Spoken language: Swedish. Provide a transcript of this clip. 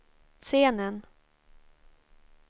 scenen